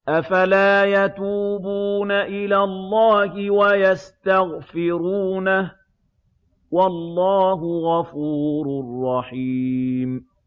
أَفَلَا يَتُوبُونَ إِلَى اللَّهِ وَيَسْتَغْفِرُونَهُ ۚ وَاللَّهُ غَفُورٌ رَّحِيمٌ